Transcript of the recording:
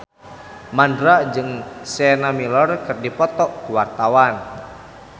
Mandra jeung Sienna Miller keur dipoto ku wartawan